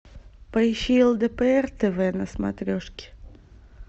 поищи лдпр тв на смотрешке